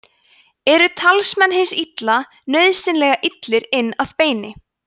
eru talsmenn hins illa nauðsynlega illir inn að beini